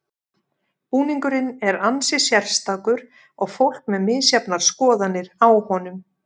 Búningurinn er ansi sérstakur og fólk með misjafnar skoðanir á honum.